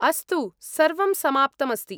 अस्तु। सर्वं समाप्तम् अस्ति।